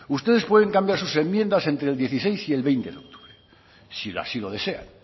ustedes pueden cambiar sus enmiendas entre el dieciséis y el veinte de octubre si así lo desean